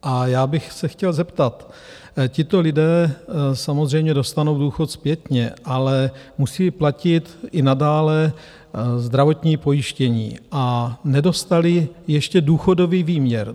A já bych se chtěl zeptat: tito lidé samozřejmě dostanou důchod zpětně, ale musí platit i nadále zdravotní pojištění a nedostali ještě důchodový výměr.